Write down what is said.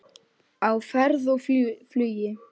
Á ferð og flugi